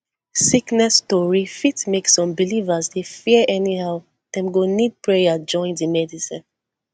sickness tori fit make some believers dey fear anyhow dem go need prayer join di medicine